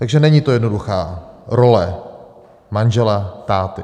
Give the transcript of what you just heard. Takže není to jednoduchá role manžela, táty.